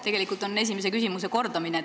Tegelikult on see esimese küsimuse kordamine.